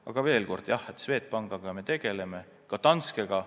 Aga veel kord: jah, Swedbankiga me tegeleme, ka Danskega.